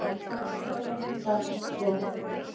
Jú, eflaust er það svo.